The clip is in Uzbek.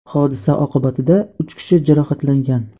Hodisa oqibatida uch kishi jarohatlangan.